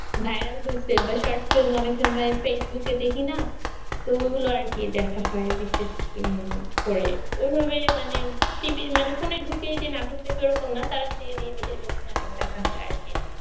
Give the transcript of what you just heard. viral হয়েছে বা short film অনেক সময় facebook এ দেখিনা তো এগুলো আর কি দেখা হয় বিশেষ করে এভাবে মানে TV মানে ফোনে ঢুকেই যে নাটক দেখবো এরকম না বিশেষ বিশেষ নাটক দেখা হয় আর কি